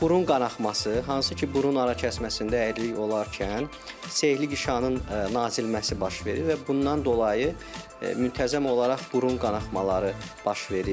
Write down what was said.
Burun qanaxması, hansı ki, burun ara kəsməsində əyriliyi olarkən selikli qişanın nazilməsi baş verir və bundan dolayı müntəzəm olaraq burun qanaxmaları baş verir.